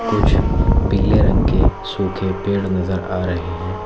कुछ पीले रंग के सूखे पेड़ नजर आ रहे हैं।